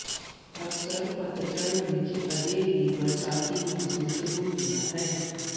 ਅਕਸਰ ਪਤਝੜ ਵਿੱਚ ਅਜੇ ਵੀ ਬਰਸਾਤੀ ਮੌਸਮ ਸ਼ੁਰੂ ਹੁੰਦਾ ਹੈ